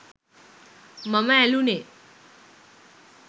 මම ඇළුනේ.